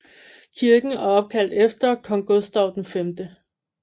Kirken er opkaldt efter kong Gustaf V